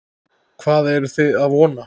Hvað eruð þið að vona?